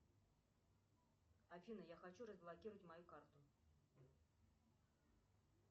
афина я хочу разблокировать мою карту